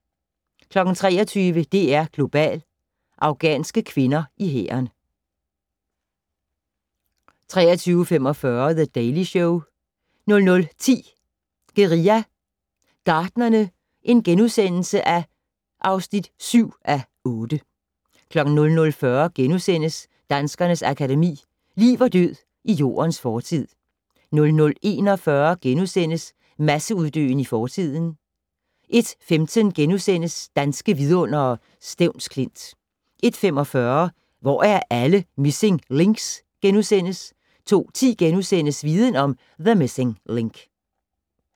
23:00: DR2 Global: Afghanske kvinder i hæren 23:45: The Daily Show 00:10: Guerilla Gartnerne (7:8)* 00:40: Danskernes Akademi: Liv og død i Jordens fortid * 00:41: Masseuddøen i fortiden * 01:15: Danske Vidundere: Stevns Klint * 01:45: Hvor er alle missing links? * 02:10: Viden om: The Missing Link *